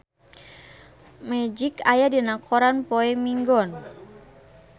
Magic aya dina koran poe Minggon